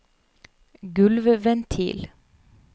gulvventil